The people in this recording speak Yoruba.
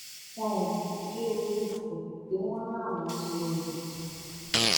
wọn ò ní í dé orí ipò tí wọn láwọn ń lò yìí